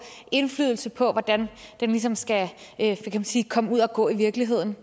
indflydelse på hvordan den ligesom skal komme ud at gå i virkeligheden